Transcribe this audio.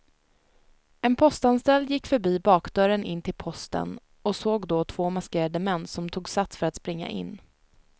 En postanställd gick förbi bakdörren in till posten och såg då två maskerade män som tog sats för att springa in.